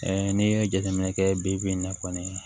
n'i ye jateminɛ kɛ bi in na kɔni